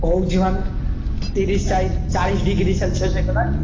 ହଉଛି ମାନେ ତିରିଶି ଚାଳି~ ଚାଳିଶି degree celsius ହେଇଗଲାଣି।